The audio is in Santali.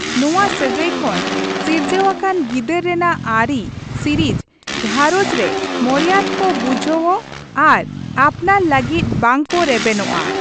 ᱱᱚᱣᱟ ᱥᱟᱹᱜᱟᱹᱭ ᱠᱷᱚᱱ ᱥᱤᱨᱡᱟᱹᱣ ᱟᱠᱟᱱ ᱜᱤᱫᱟᱹᱨ ᱨᱮᱱᱟᱜ ᱟᱹᱨᱤ ᱥᱤᱨᱤᱡ ᱜᱟᱷᱨᱚᱸᱡᱽ ᱨᱮ ᱢᱚᱨᱭᱟᱫᱽ ᱠᱚ ᱵᱩᱡᱷᱟᱹᱣᱚᱜ ᱟᱨ ᱟᱯᱱᱟᱨ ᱞᱟᱹᱜᱤᱫ ᱵᱟᱝ ᱠᱚ ᱨᱮᱵᱮᱱᱚᱜᱼᱟ ᱾